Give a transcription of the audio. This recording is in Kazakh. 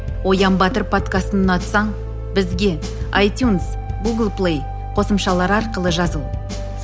оян батыр подкастын ұнатсаң бізге айтюнс гулг плей қосымшалары арқылы жазыл